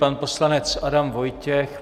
Pan poslanec Adam Vojtěch.